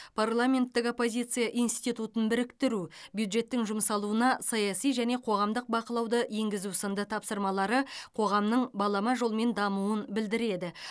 парламенттік оппозиция институтын біріктіру бюджеттің жұмсалуына саяси және қоғамдық бақылауды енгізу сынды тапсырмалары қоғамның балама жолмен дамуын білдіреді